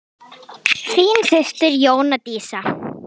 Þín systir Jóna Dísa.